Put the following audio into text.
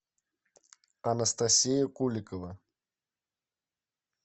анастасия куликова